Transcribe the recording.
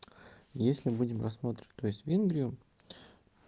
если будем рассматривать то есть в венгрию